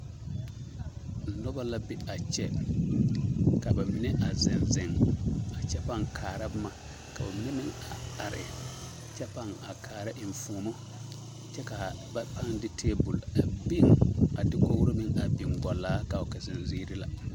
Nobɔ la be a kyɛ ka ba mine a zeŋ zeŋ a kyɛ paŋ kaara boma ka bamina meŋ a are kyɛ paŋ a kaara eŋfuomo kyɛ kaa ba paŋ de tebol a beŋ a de dakogro meŋ beŋ a gɔllaa kaa wuli ka zeŋ ziiri la.